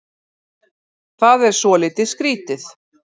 Það er svolítið skrítið